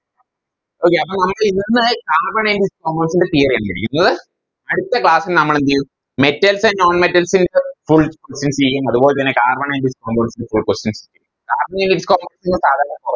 Okay അപ്പൊ നമ്മളിന്ന് Carbon and its compunds ൻറെ Theory ആണ് പഠിക്കുന്നത് അടുത്ത Class ൽ നമ്മളെന്തേയും Metals and non metals full discuss ചെയ്യും അതുപോലെത്തന്നെ Carbon and its compounds full question ചെയ്യും Carbon and its compounds